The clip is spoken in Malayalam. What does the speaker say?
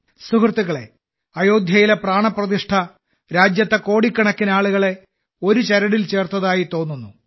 സുഹൃത്തുക്കളേ അയോധ്യയിലെ പ്രാണപ്രതിഷ്ഠ രാജ്യത്തെ കോടിക്കണക്കിന് ആളുകളെ ഒരു ചരടിൽ ചേർത്തതായി തോന്നുന്നു